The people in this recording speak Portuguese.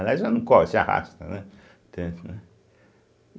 Aliás, ela não corre, se arrasta, né, entende, né.